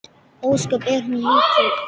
Ósköp er hún lítil.